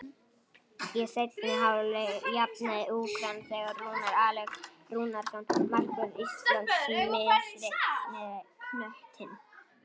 Í seinni hálfleik jafnaði Úkraína þegar Rúnar Alex Rúnarsson, markvörður Íslands, misreiknaði knöttinn.